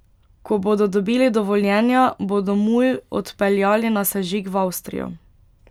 Ko bodo dobili dovoljenja, bodo mulj odpeljali na sežig v Avstrijo.